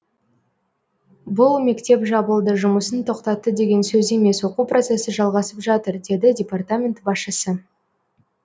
бұл мектеп жабылды жұмысын тоқтатты деген сөз емес оқу процесі жалғасып жатыр деді департамент басшысы